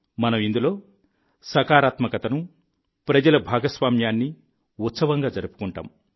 మనం ఇందులో సకారాత్మకతను ప్రజల భాగస్వామ్యాన్ని ఉత్సవంగా జరుపుకుంటాం